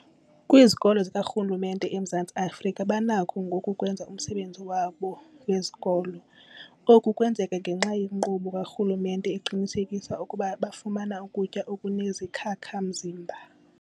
Kwizikolo zikarhulumente eMzantsi Afrika banakho ngoku ukwenza umsebenzi wabo wesikolo. Oku kwenzeka ngenxa yenkqubo karhulumente eqinisekisa ukuba bafumana ukutya okunezikhakha-mzimba.